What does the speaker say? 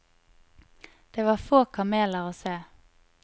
Det var få kameler å se.